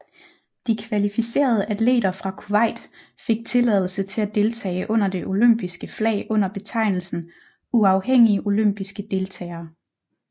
De kvalificerede atleter fra Kuwait fik tilladelse til at deltage under det olympiske flag under betegnelsen Uafhængige olympiske deltagere